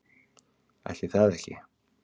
Ætli það ekki.